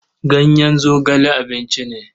Ganyen zogale abinci ne.